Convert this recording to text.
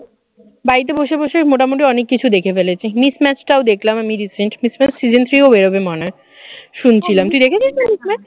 বাড়িতে বসে বসে মোটামুটি অনেক কিছু দেখে ফেলেছি, mismatched টাও দেখলাম আমি recent mismatched season three ও বেরোবে মনে হয় শুনছিলাম তুই দেখেছিস নাকি